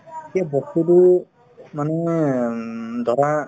সেই বস্তুতো মানে উম ধৰা